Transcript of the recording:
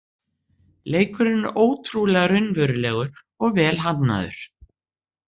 Leikurinn er ótrúlega raunverulegur og vel hannaður